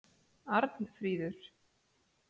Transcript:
Arnfríður